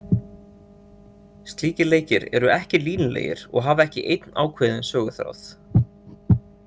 Slíkir leikir eru ekki línulegir og hafa ekki einn ákveðinn söguþráð.